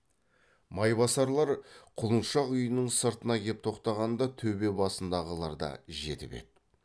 майбасарлар құлыншақ үйінің сыртына кеп тоқтағанда төбе басындағылар да жетіп еді